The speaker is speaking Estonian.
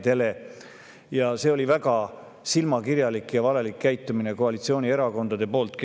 See on olnud väga silmakirjalik ja valelik käitumine koalitsioonierakondade poolt.